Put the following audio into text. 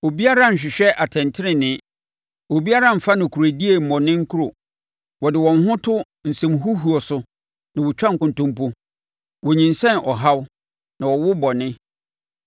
Obiara nhwehwɛ atɛntenee; obiara mfa nokorɛdie mmɔ ne nkuro. Wɔde wɔn ho to nsɛmhuhuo so na wɔtwa nkontonpo; wonyinsɛn ɔhaw na wɔwo bɔne.